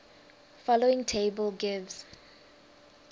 following table gives